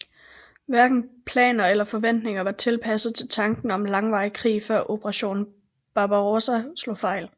Hverken planer eller forventninger var tilpasset til tanken om en langvarig krig før Operation Barbarossa slog fejl